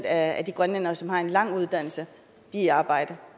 af de grønlændere som har en lang uddannelse er i arbejde